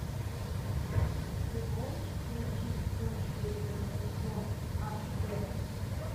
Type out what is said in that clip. ты можешь включить ночь перед рождеством аш дэ